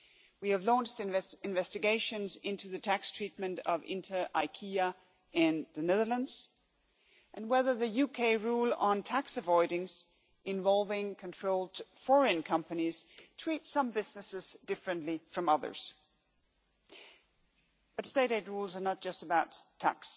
We have launched investigations into the tax treatment of Inter IKEA in the Netherlands, and whether the UK rule on tax avoidance involving controlled foreign companies treats some businesses differently from others. But state aid rules are not just about tax.